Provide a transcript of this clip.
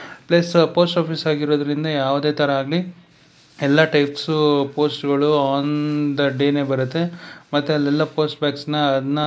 plus post office ಆಗಿರೋದರಿಂದ ಯಾವುದೇತರ ಆಗಲಿ ಎಲ್ಲಾ ಟೈಪ್ಸ್ ಪೋಸ್ಟ್ ಗಳು ಆನ ದ ಡೇ ನೇ ಬರುತ್ತೆ ಮತ್ತೆ ಅಲ್ಲಿ ಎಲ್ಲಾ ಪೋಸ್ಟ್ ಬ್ಯಾಗ್ಸ್ ನ ಅದ್ನ--